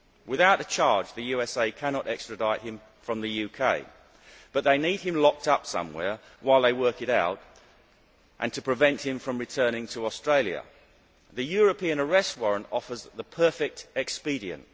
Without a charge, the USA cannot extradite him from the UK, but they need him locked up somewhere while they work it out, preventing him from returning to Australia. The European Arrest Warrant offers the perfect expedient.